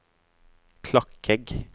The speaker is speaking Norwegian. Klakegg